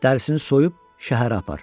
Dərisini soyub şəhərə apar.